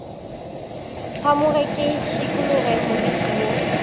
phamoge ke šikologe moriti wo